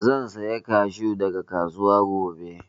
Zan saya kashu daga kasuwa gobe